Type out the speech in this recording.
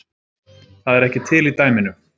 Það er ekki til í dæminu